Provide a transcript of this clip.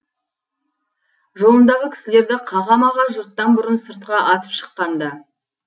жолындағы кісілерді қаға маға жұрттан бұрын сыртқа атып шыққан ды